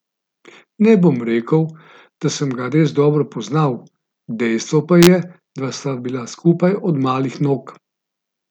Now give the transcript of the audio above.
Ne bom rekel, da sem ga res dobro poznal, dejstvo pa je, da sva bila skupaj od malih nog.